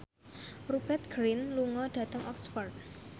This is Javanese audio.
Rupert Grin lunga dhateng Oxford